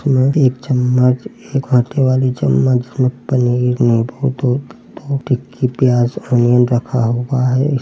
इसमें एक चम्मच एक हाथे वाली चम्मच जिसमें पनीर नीबू दो दो टिक्की प्याज अनियन रखा हुआ है। इस --